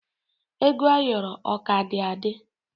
Ego ayoro o ka dị adị.